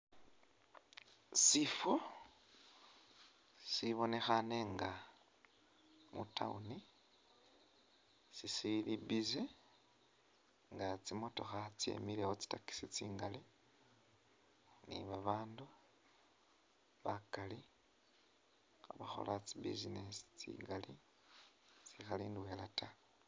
Sifo sibonekhane nga mu Town sisili busy nga tsimotokha tsyemilewo tsi taxi tsingali ni babandu bakali khabakhola tsi business tsingali tsikhali ndwela ta